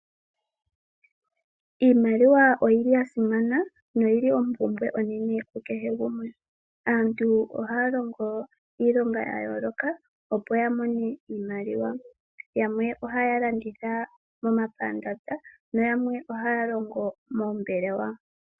Iimaliwa oyili yasimana noyili ompumbwe onene ku kehe gumwe. Aantu ohaya longo iilonga ya yooloka, opo ya mone iimaliwa. Yamwe ohaya landitha momapandanda nayamwe ohaya longo moombelewa.